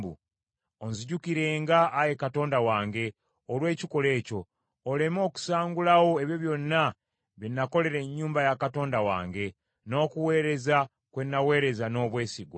Ozinjukirenga Ayi Katonda wange olw’ekikolwa ekyo, oleme okusangulawo ebyo byonna bye nakolera ennyumba ya Katonda wange, n’okuweereza kwe naweereza n’obwesigwa.